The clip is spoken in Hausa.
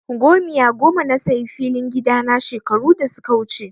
Gomiya goma na sayi filin gida na shekaru da suka wuce.